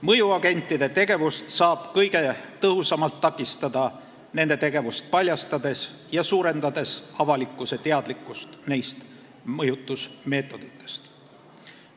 Mõjuagentide tegevust saab kõige tõhusamalt takistada nende tegevust paljastades ja suurendades avalikkuse teadlikkust neist mõjutusmeetoditest.